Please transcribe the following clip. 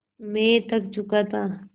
मैं थक चुका था